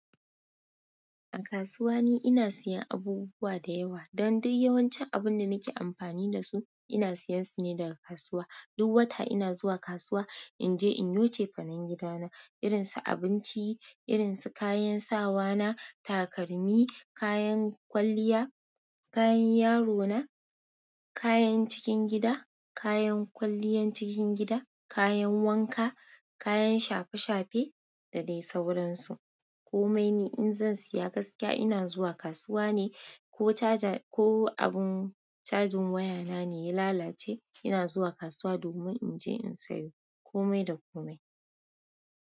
A kasuwa ne ina siyan abubuwa da yawa. Don dai yawancin abun da nake amfani da su ina siyan su ne daga kasuwa. Duk wata ina zuwa kasuwa in je in yi cefanen gida na, irin su abinci, irin su kayan sawa na, takalmi, kayan kwalliya, kayan yaro na, kayan cikin gida, kayan kwalliyan cikin gida, kayan wanka, kayan shafe-shafe da dai sauransu. Komai ne in zan siya gaskiya ina zuwa kasuwa ne, ko taja, ko abun cajin waya na ne ya lalace ina zuwa kasuwa domin in je in sayo. Komai da komai.